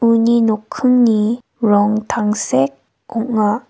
uni nokkingni rong tangsek ong·a.